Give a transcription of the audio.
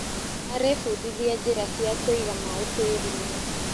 Arebundithia njĩra cia kũiga maĩ tĩrinĩ.